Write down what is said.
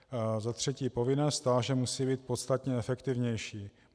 Za třetí - povinné stáže musí být podstatně efektivnější.